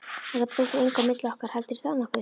Þetta breytir engu á milli okkar, heldurðu það nokkuð?